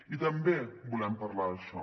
i també volem parlar d’això